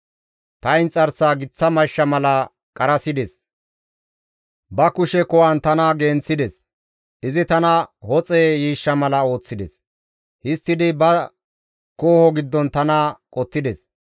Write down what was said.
Ta inxarsaa giththa mashsha mala qarasides; ba kushe kuwan tana genththides; izi tana hoxe yiishsha mala ooththides; histtidi ba kooho giddon tana qottides.